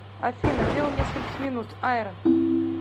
афина дело нескольких минут ай рон